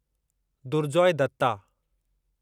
Durjoy Dutta